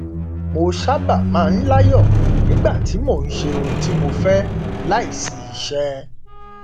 mo sábà máa ń láyọ nígbà tí mo ń ṣe ohun tí mo fẹ láìsí iṣẹ